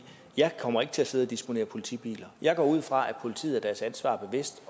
jeg kommer ikke til at sidde og disponere politibiler jeg går ud fra at politiet er deres ansvar bevidst